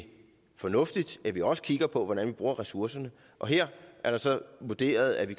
fornuftigt at vi også kigger på hvordan vi bruger ressourcerne her er det så vurderet at vi